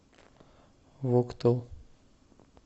вуктыл